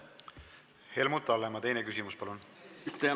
Helmut Hallemaa, teine küsimus, palun!